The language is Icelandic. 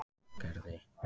Gerði